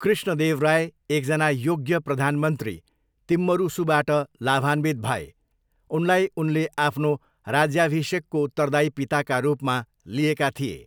कृष्णदेवराय एकजना योग्य प्रधानमन्त्री तिम्मरुसूबाट लाभान्वित भए। उनलाई उनले आफ्नो राज्याभिषेकको उत्तरदायी पिताका रूपमा लिएका थिए।